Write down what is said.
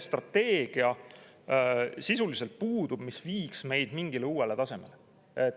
Ja sisuliselt puudub strateegia, mis viiks meid mingile uuele tasemele.